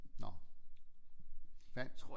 Nåh vand